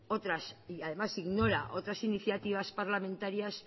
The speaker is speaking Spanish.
y además ignora otras iniciativas parlamentarias